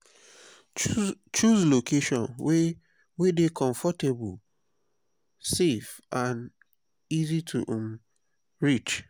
choose location wey wey dey comfortable safe and easy to um reach.